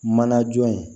Mana jɔ ye